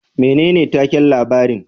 Menene takin labarin